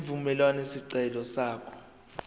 evumela isicelo sakho